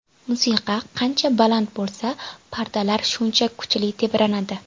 Musiqa qancha baland bo‘lsa, pardalar shuncha kuchli tebranadi.